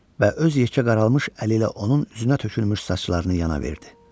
Və öz yekə qaralmış əli ilə onun üzünə tökülmüş saçlarını yana verdi.